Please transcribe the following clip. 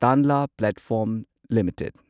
Tanla platform limited